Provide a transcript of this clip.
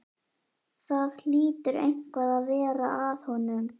Það hlýtur eitthvað að vera að honum.